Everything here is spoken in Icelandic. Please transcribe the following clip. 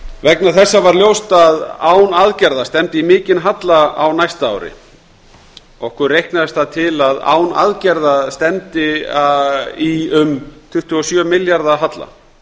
vegna þessa var ljóst að án aðgerða stefndi í mikinn halla á næsta ári okkur reiknaðist það til að án aðgerða stefndi í um tuttugu og sjö milljarða halla